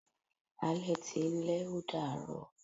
Alẹ́ ti ń lẹ́, ó dàá rọ̀.